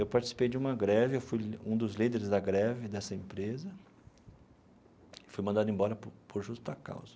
Eu participei de uma greve, eu fui um dos líderes da greve dessa empresa e fui mandado embora por por justa causa.